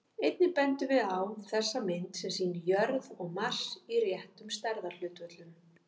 Einnig bendum við á þessa mynd, sem sýnir jörð og Mars í réttum stærðarhlutföllum.